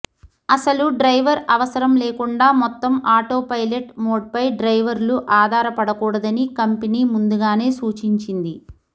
అసలు డ్రైవర్ అవసరం లేకుండా మొత్తం ఆటోపైలట్ మోడ్పై డ్రైవర్లు ఆధారపడకూడదని కంపెనీ ముందుగానే సూచించింది